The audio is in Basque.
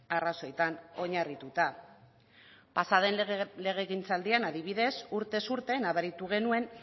arrazoitan oinarrituta pasa den lege gizaldien adibidez urtez urte nabaritu genuen